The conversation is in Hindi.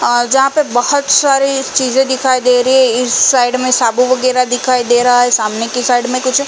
आ जहाँ पे बहोत सारी ये चीजे दिखाई दे रही है इस साइड में साबू वगेरा दिखाई दे रहा है सामने की साइड में कुछ --